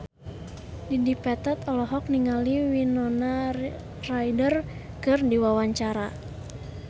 Dedi Petet olohok ningali Winona Ryder keur diwawancara